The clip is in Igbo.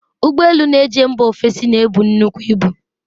Ụgbo elu na-eje mba ofesi na-ebu nnukwu ibu.